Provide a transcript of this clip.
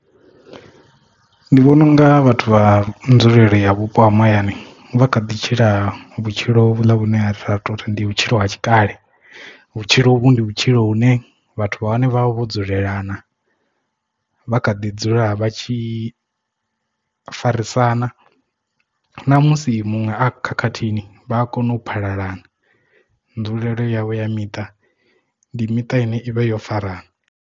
Ndi vhona unga vhathu vha nzulele ya vhupo ha mahayani vha kha ḓi tshila vhutshilo vhune ha sa tou ndi vhutshilo ha tshikale vhutshilo uvhu ndi vhutshilo hune vhathu vhane vha vha vho dzulelana vha kha ḓi dzula vha tshi farisana na musi muṅwe a khakhathini vha a kona u phalalana nzulelo yavho ya miṱa ndi miṱa ine ivha yo farana.